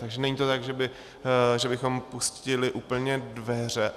Takže není to tak, že bychom pustili úplně dveře.